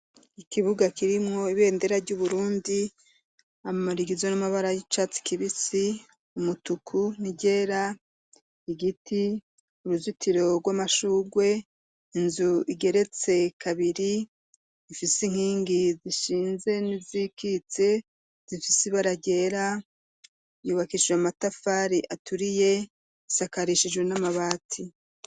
Ikibuga kirimwo ibendera ry'Uburundi amara igizwe n'amabara y'icatsi kibisi ,umutuku niryera igiti uruzitiro rw'amashugwe inzu igeretse kabiri ifise inkingi zishinze n'izikitse zifise ibara ryera yubakishijwe amatafari aturiye isakarishijwe n'amabati.